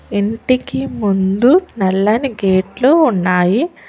ఇంటికి ముందు నల్లని గేట్లు ఉన్నాయి.